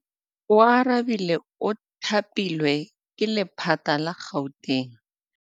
Oarabile o thapilwe ke lephata la Gauteng.